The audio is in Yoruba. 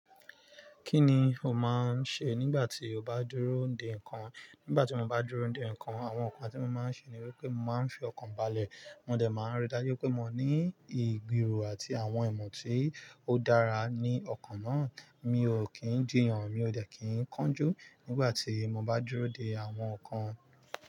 Kí ni o máa ń ṣe nígbà tí o n bá dúró dè nǹkan? Nígbà tí mo bá dúró dè nǹkan, àwọn nǹkan tí mo máa ń ṣe ni wípé mo máa ń fi ọkàn balẹ̀. Mo dẹ̀ máa ń rí dájú pé mo ní ìgbìro àti àwọn ìmọ̀ tí ó dára ní ọkàn náà. Mi ò kí ń jìyàn, mi ò dẹ̀ kí ń kánjú nígbà tí mo bá dúró dè àwọn nǹkan.